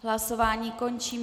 Hlasování končím.